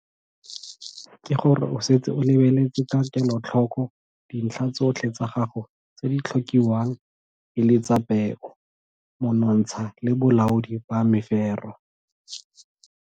Ke go re o setse o lebeletse ka kelotlhoko dintlha tsotlhe tsa gago tse di tlhokiwang e le tsa peo, monontsha le bolaodi ba mefero.